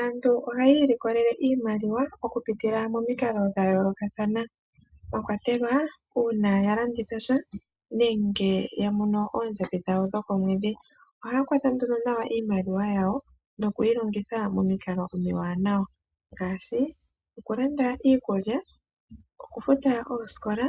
Aantu ohaya ilikolele iimaliwa okupitila momikalo dhayoolokathana mwakwatelwa uuna yalanditha tya nenge yamono oondjambi dhawo dhokomwedhi. Ohaya kwata nduno nawa iimaliwa yawo nokuyi longitha momikalo omiwanawa ngaashi, okulanda iikulya, okufuta oosikola,